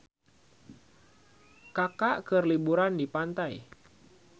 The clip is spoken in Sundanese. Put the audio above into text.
Kaka keur liburan di pantai